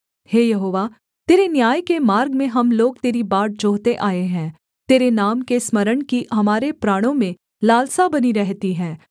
हे यहोवा तेरे न्याय के मार्ग में हम लोग तेरी बाट जोहते आए हैं तेरे नाम के स्मरण की हमारे प्राणों में लालसा बनी रहती है